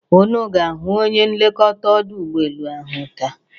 unu ga-ahụ onye nlekọta ọdụ ụbọelu taa?